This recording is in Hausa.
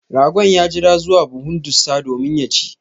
Ragon ya jira zuwa buhun ɗussa domin ya chi.